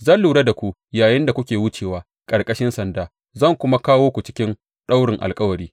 Zan lura da ku yayinda kuke wucewa ƙarƙashin sanda, zan kuma kawo ku cikin daurin alkawari.